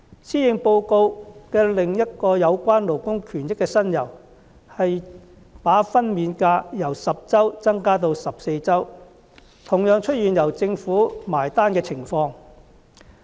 施政報告內另一有關勞工權益的新猷，是把法定產假由10周增加至14周，同樣出現由政府"埋單"的情況。